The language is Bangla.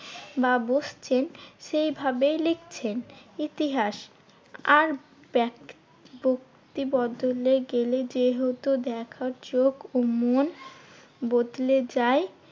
বা বসছেন সেইভাবেই লিখছেন ইতিহাস। আর ব্যাক~ ব্যাক্তি বদলে গেলে যেহেতু দেখার চোখ ও মন বদলে যায়